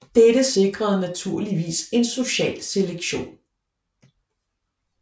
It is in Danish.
Dette sikrede naturligvis en social selektion